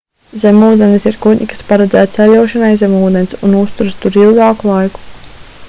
zemūdenes ir kuģi kas paredzēti ceļošanai zem ūdens un uzturas tur ilgāku laiku